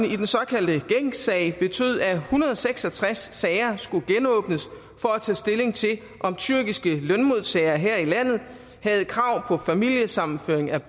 i den såkaldte gencsag betød at en hundrede og seks og tres sager skulle genåbnes for at tage stilling til om tyrkiske lønmodtagere her i landet havde krav på familiesammenføring af